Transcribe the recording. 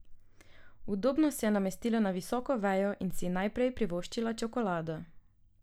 Udobno se je namestila na visoko vejo in si najprej privoščila čokolado.